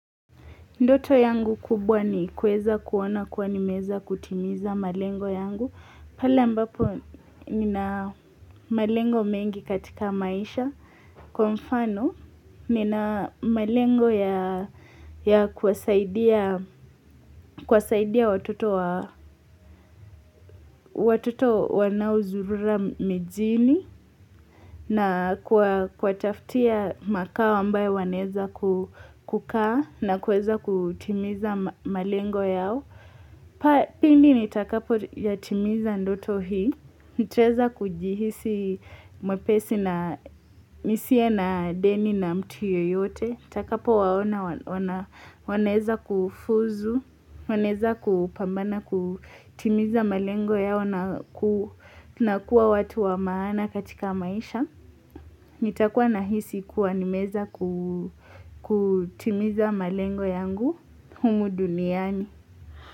Ndoto yangu kubwa ni kuweza kuona kuwa nimeweza kutimiza malengo yangu. Pale ambapo nina malengo mengi katika maisha. Kwa mfano nina malengo ya kuwasaidia watoto wa watoto wanaozurura mijini. Na kuwataftia makao ambayo wanaeza kukaa na kuweza kutimiza malengo yao. Pa pindi nitakapo yatimiza ndoto hii nitaweza kujihisi mwepesi na nisiye na deni na mtu yoyote Nitakapo waona wanaeza kufuzu wanaeza kupambana kutimiza malengo yao na ku Nakua watu wa maana katika maisha nitakua nahisi kuwa nimeweza kutimiza malengo yangu Humu duniani.